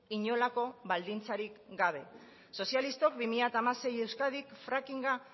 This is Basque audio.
inolako baldintzarik gabe sozialistok bi mila hamasei euskadi frackinga